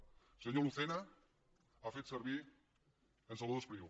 el senyor lucena ha fet servir en salvador espriu